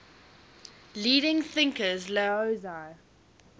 leading thinkers laozi